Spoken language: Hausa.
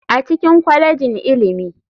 A cikin kwalejin ilimi.